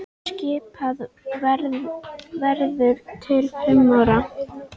Skipað verður til fimm ára.